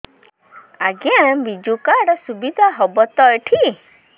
ଆଜ୍ଞା ବିଜୁ କାର୍ଡ ସୁବିଧା ହବ ତ ଏଠି